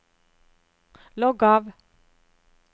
logg av